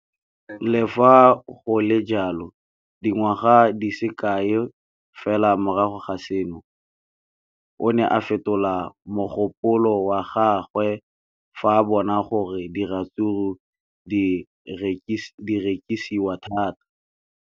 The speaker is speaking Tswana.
Le fa go le jalo, dingwaga di se kae fela morago ga seno, o ne a fetola mogopolo wa gagwe fa a bona gore diratsuru di rekisiwa thata.